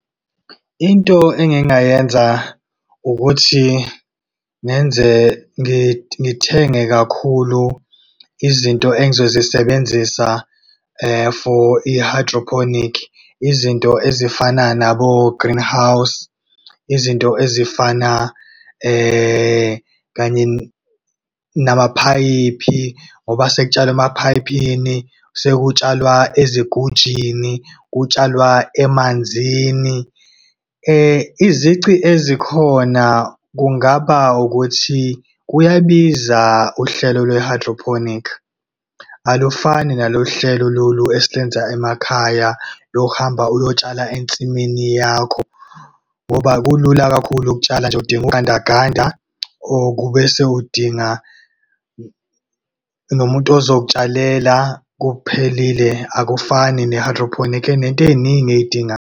Into engingayenza ukuthi ngenze ngithenge kakhulu izinto engizozisebenzisa for i-hydroponic, izinto ezifana nabo-greenhouse, izinto ezifana kanye namaphayiphi, ngoba sekutshalwa emaphayiphini, sekutshalwa ezigujini, kutshalwa emanzini. Izici ezikhona kungaba ukuthi kuyabiza uhlelo lwe-hydroponic. Alufani nalolu hlelo lolu esilenza emakhaya lokuhamba uyotshala ensimini yakho. Ngoba kulula kakhulu ukutshala, udinga ugandaganda kubese udinga, nomuntu ozokutshalela kuphelile akufani ne-hydroponic, enento eyiningi ey'dingayo.